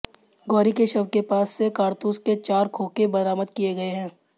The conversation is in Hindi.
गौरी के शव के पास से कारतूस के चार खोखे बरामद किए गए हैं